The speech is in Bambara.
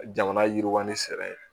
Jamana yiriwali sɛbɛn ye